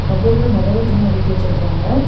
கபோர்டுல நறைய துணி அடுக்கி வச்சிருக்காங்க.